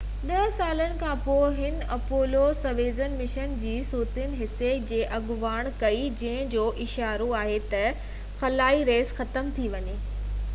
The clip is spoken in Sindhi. ڏه سالن کانپوءِ هن اپولو-سويوز مشن جي سويت حصي جي اڳواڻي ڪئي جنهن جو اشارو آهي تہ خلائي ريس ختم ٿي ويئي